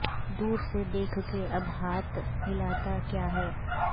دور سے دیکھ کے اب ہاتھ ہلاتا کیا ہے